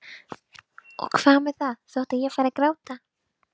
Og hvað með það þótt ég færi að gráta?